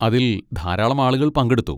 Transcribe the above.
അതിൽ ധാരാളം ആളുകൾ പങ്കെടുത്തു.